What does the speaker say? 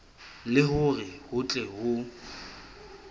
le hore ho tle ho